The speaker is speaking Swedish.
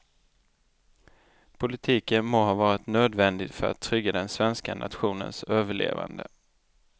Politiken må ha varit nödvändig för att trygga den svenska nationens överlevande.